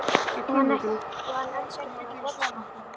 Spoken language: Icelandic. Og hann elski hana á borðstokknum.